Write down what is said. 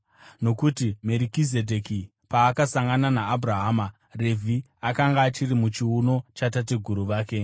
nokuti Merikizedheki paakasangana naAbhurahama, Revhi akanga achiri muchiuno chatateguru vake.